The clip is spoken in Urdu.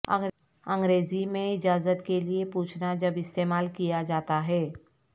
انگریزی میں اجازت کے لئے پوچھنا جب استعمال کیا جاتا ہے